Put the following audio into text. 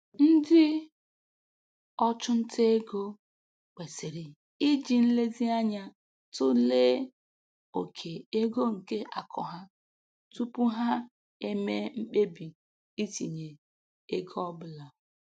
Ndị ọchụnta ego kwesịrị iji nlezianya tụlee oke ego nke akụ ha tupu ha eme mkpebi itinye ego ọ bụla.